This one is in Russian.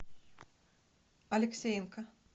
алексеенко